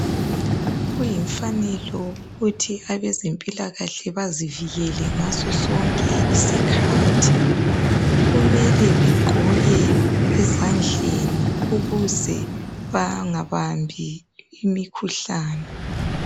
Kuyimfanelo ukuthi abezempilakahle bazivikele ngasosonke isikhathi. Kumele bagqoke ezandleni ukuze bangabambi imikhuhlane.